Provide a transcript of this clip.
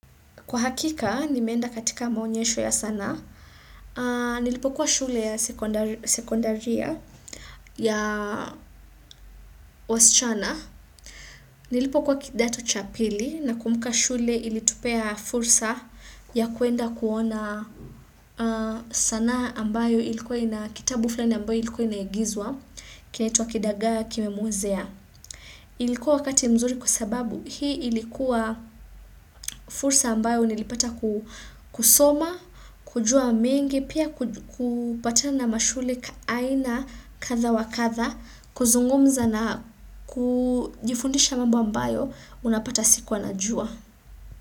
Kwa hakika, nimeenda katika maonyesho ya sanaa, nilipokuwa shule ya sekondaria ya wasichana, nilipokuwa kidato cha pili, nakumbuka shule ilitupea fursa ya kuenda kuona sanaa ambayo ilikuwa ina kitabu fulani ambayo ilikuwa inaigizwa, kinaitwa kidagaa kimemuozea. Ilikuwa wakati mzuri kwa sababu hii ilikuwa fursa ambayo nilipata kusoma, kujua mengi, pia kupata na mashule aina katha wakatha, kuzungumza na kujifundisha mambo ambayo unapata sikuwa anajua.